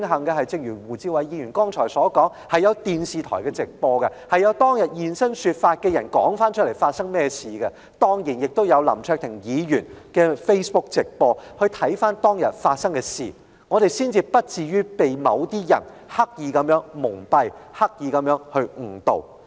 不過，正如胡志偉議員剛才所說，慶幸有電視台直播，以及有人現身說法，訴說當天發生甚麼事，當然亦有林卓廷議員的 Facebook 直播，讓大家可以回顧當天發生的事情，才不至於被某些人刻意蒙蔽和誤導。